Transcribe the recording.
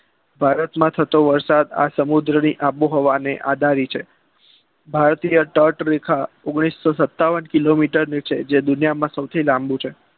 ભારતમાં થતો વરસાદ આ સમુદ્રની આબોહવા ને આધારિત છે ભારતીય તટ રેખા ઓગણીસો સતાવન કિલોમીટર છે જે દુનિયામાં સૌથી લાંબુ છે